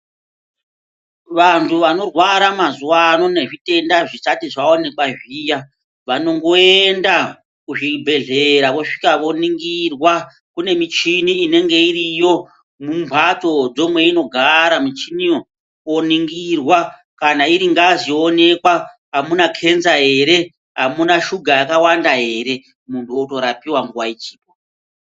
Vanhu vanorwara mazuwa ano nezvitenda zvisati zvaoonekwa zviya vanongoenda kuzvibhehleya vosvika voningirwa kune michini inenge iriyo mumhatso ndo mweinogara michiniyo oningirwa kana iri ngazi yoonekwa amuna kenza ere ,amuna shuga yakawanda ere munhu otorapiwa nguwa ichipo.